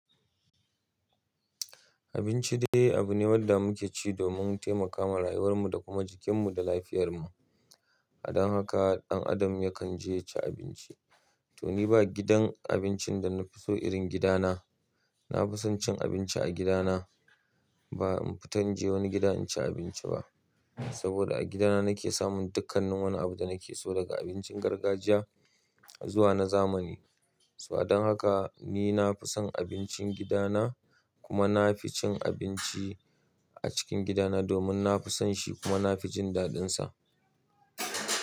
Abinci dai abu ne wanda muke ci domin taimakawa rayuwar mu da kuma jikin mu da lafiyar mu. A dan haka dan adam yakan je yaci abinci. Toni ba gidan abincin da nafi so irin gida na. Na fi son cin abinci a gida na. Ba in fita inje wani gida in ci abinci ba. Saboda a gida na, nake samun dukkanin wani abu da nake so daga abincin gargajiya zuwa na zamani. So a dan haka ni na fi son abincin gida na. Kuma na fi cin abinci a cikin gida na domin na fi son shi kuma nafi jin daɗin sa.